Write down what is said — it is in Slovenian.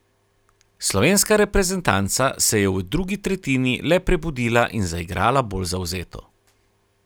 Slovenska reprezentanca se je v drugi tretjini le prebudila in zaigrala bolj zavzeto.